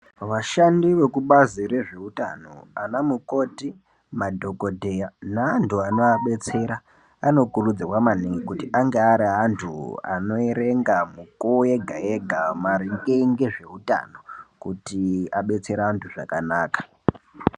Vashandi vekubazi re zveutano ana mukoti madhokodheya ne antu anoa detsera ano kurudzirwa maningi kuti ange ari antu ano erenga mukuwo yega yega maringe nge zveutano kuti adetsere antu zvakanaka.